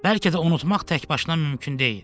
Bəlkə də unutmaq təkbaşına mümkün deyil.